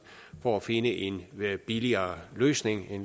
for at finde en billigere løsning